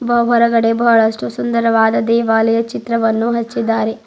ಬಾ ಹೊರಗಡೆ ಬಹಳಷ್ಟು ಸುಂದರವಾದ ದೇವಾಲಯ ಚಿತ್ರವನ್ನು ಹಚ್ಚಿದ್ದಾರೆ.